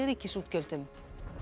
ríkisútgjöldum